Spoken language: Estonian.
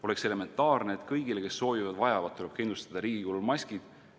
Oleks elementaarne, et kõigile, kes soovivad ja seda vajavad, tuleb kindlustada riigi kulul maskid.